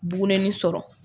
Bugunennin sɔrɔ.